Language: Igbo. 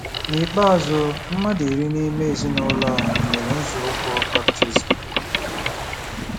N'ikpeazụ, mmadụ iri n'ime ezinụlọ a mere nzọụkwụ baptizim.